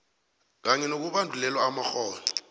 kanye nokubandulelwa amakghono